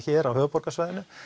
hér á höfuðborgarsvæðinu